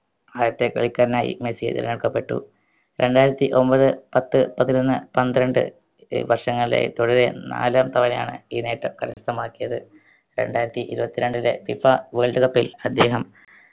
ആദ്യത്തെ കളിക്കാരനായി മെസ്സിയെ തെരഞ്ഞെടുക്കപ്പെട്ടു രണ്ടായിരത്തി ഒമ്പത് പത്ത് പതിനൊന്ന് പന്ത്രണ്ട് ഏർ വർഷങ്ങളിലായി തുടരെ നാലാം തവണയാണ് ഈ നേട്ടം കരസ്ഥമാക്കിയത് രണ്ടായിരത്തി ഇരുപത്രണ്ടിലെ FIFA world cup ൽ അദ്ദേഹം